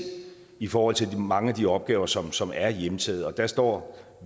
i forhold til mange af de opgaver som som er hjemtaget og der står